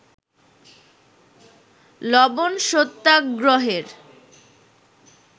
লবন সত্যাগ্রহের